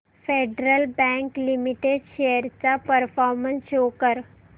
federal Bank Limited shares चा performance show कर